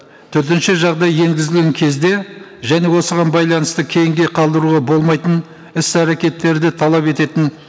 төтенше жағдай енгізілген кезде және осыған байланысты кейінге қалдыруға болмайтын іс әрекеттерді талап ететін